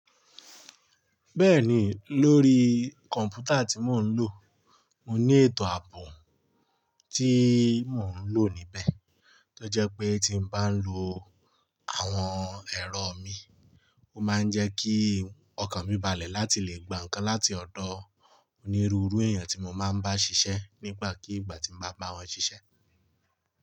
Bẹ́ẹ̀ni, lórí kọ̀m̀pútà tí mò ń lò, mo ní ètò ààbò tí mò ń lò níbẹ̀, tó jẹ́ pé tí bá ń lo àwọn ẹ̀rọ mi, ó máa ń jẹ́ kí ọkàn mi balẹ̀ láti lè gba ǹkan láti ọ̀dọ̀ onírúurú èèyàn tí mo máa ń bá ṣiṣẹ́ nígbàkigbà tí mo bá bá wọn ṣiṣẹ́.